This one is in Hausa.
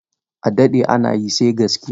A daɗɗe ana yi, sai gaskiya.